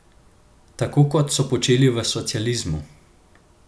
Tako kot so počeli v socializmu!